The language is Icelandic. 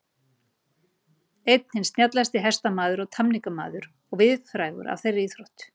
Einn hinn snjallasti hestamaður og tamningamaður og víðfrægur af þeirri íþrótt.